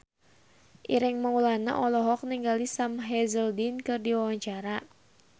Ireng Maulana olohok ningali Sam Hazeldine keur diwawancara